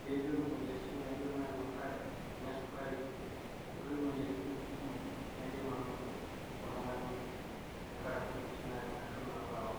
pee metum imoyiaritin naijo inaayau engare, kuna esukari okulie moyiaritin ake kumok naidim anoto oltung'ani tenkaraki intokitin naanya ashu naalo aok.